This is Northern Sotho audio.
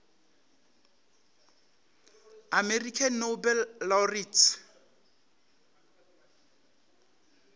american nobel laureates